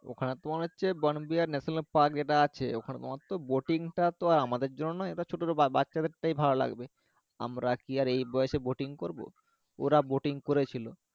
ওখানে তোমার হচ্ছে গাম্বিয়া ন্যাশনাল পার্ক যেটা আছে ওখানে তোমার তো টা তো আমাদের জন্য না এটা ছোট বা বাচ্চাদেরটাই ভালো লাগবে আমরা কি আর এই বয়সে করবো? ওরা করেছিলো